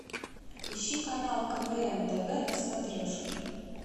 ищи канал квн тв на смотрешке